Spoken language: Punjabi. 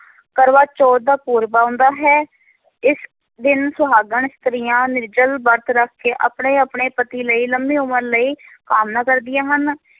ਕਰਵਾ ਚੌਥ ਦਾ ਪੂਰਬ ਆਉਂਦਾ ਹੈ, ਇਸ ਦਿਨ ਸੁਹਾਗਣ ਇਸਤਰੀਆਂ ਨਿਰਜਲ ਵਰਤ ਰੱਖ ਕੇ ਆਪਣੇ ਆਪਣੇ ਪਤੀ ਲਈ ਲੰਮੀ ਉਮਰ ਲਈ ਕਾਮਨਾ ਕਰਦੀਆਂ ਹਨ,